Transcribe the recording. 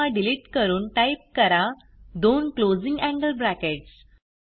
comma delete करून type करा दोन क्लोजिंग एंगल ब्रॅकेट्स